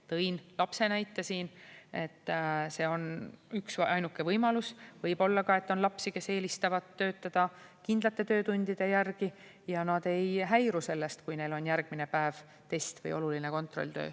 Tõin lapse näite siin, et see on üksainuke võimalus, võib-olla on ka lapsi, kes eelistavad töötada kindlate töötundide järgi ja nad ei häiru sellest, kui neil on järgmine päev test või oluline kontrolltöö.